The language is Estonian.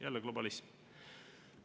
Jälle globalism.